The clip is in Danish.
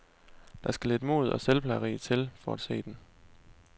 Der skal lidt mod og selvplageri til for at se den.